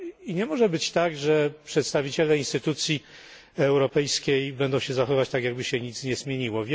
Nie może być tak, że przedstawiciele instytucji europejskiej będą się zachowywać tak, jakby się nic nie zmieniło.